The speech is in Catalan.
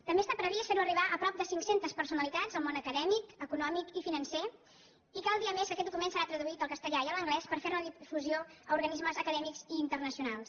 també està previst fer·ho arribar a prop de cinc·centes personalitats del món acadèmic econòmic i financer i cal dir a més que aquest docu·ment serà traduït al castellà i a l’anglès per fer·ne la di·fusió a organismes acadèmics i internacionals